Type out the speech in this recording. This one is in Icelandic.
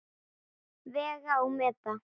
Vega og meta.